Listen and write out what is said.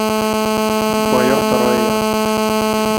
мое второе я